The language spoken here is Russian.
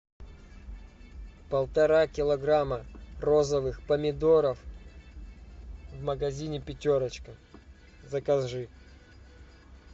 полтора килограмма розовых помидоров в магазине пятерочка закажи